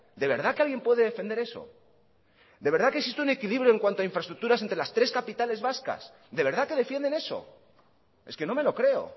de verdad que alguien puede defender eso de verdad que existe un equilibrio en cuanto a infraestructuras entre las tres capitales vascas de verdad que defienden eso es que no me lo creo